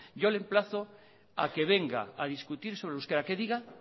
yo le emplazo a que venga a discutir sobre el euskera que diga